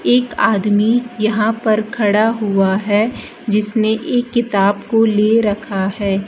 एक आदमी यहां पर खड़ा हुआ है जिसने एक किताब को ले रखा है।